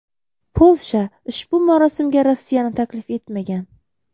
Polsha ushbu marosimga Rossiyani taklif etmagan.